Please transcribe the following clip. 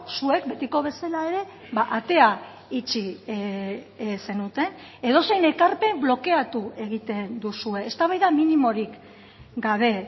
zuek betiko bezala ere atea itxi zenuten edozein ekarpen blokeatu egiten duzue eztabaida minimorik gabe